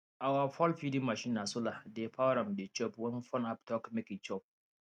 our fowlfeeding machine na solar dey power am e dey chop when phone app talk make e chop